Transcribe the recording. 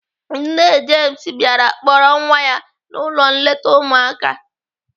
Nne James bịara kpọrọ nwa ya n'ụlọ nleta ụmụaka.